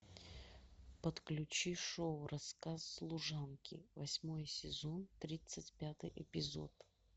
подключи шоу рассказ служанки восьмой сезон тридцать пятый эпизод